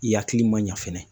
I hakili man ɲa fɛnɛ.